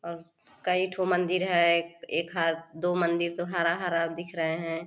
और कई ठो मंदिर है एक हाथ दो मंदिर तो हरा-हरा दिख रहे है।